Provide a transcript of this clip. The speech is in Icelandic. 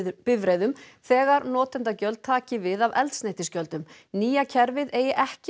bifreiðum þegar notendagjöld taki við af eldsneytisgjöldum nýja kerfið eigi ekki